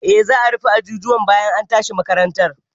Eh, za a rufe ajujuwan bayan an tashi makaranta.